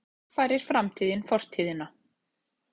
Samkvæmt þessu kaffærir framtíðin fortíðina.